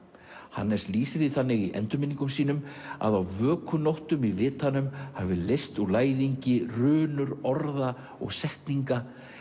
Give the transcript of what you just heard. Hannes lýsir því þannig í endurminningum sínum að á vökunóttum í vitanum hafi leyst úr læðingi runur orða og setninga